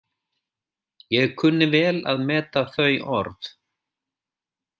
Ég kunni vel að meta þau orð.